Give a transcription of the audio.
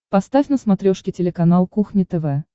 поставь на смотрешке телеканал кухня тв